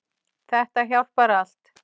Þetta hjálpar allt.